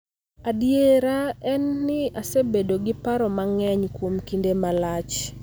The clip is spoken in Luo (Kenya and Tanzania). Adiera en ni asebedo gi paro mang�eny kuom kinde malach